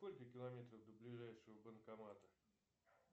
сколько километров до ближайшего банкомата